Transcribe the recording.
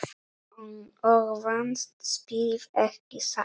Og vannst spilið, ekki satt?